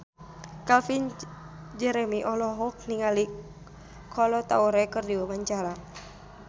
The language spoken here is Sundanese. Calvin Jeremy olohok ningali Kolo Taure keur diwawancara